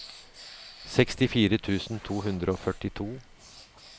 sekstifire tusen to hundre og førtito